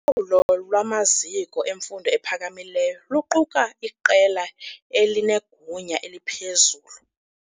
Ulawulo lwamaziko emfundo ephakamileyo luquka iqela elinegunya eliphezulu.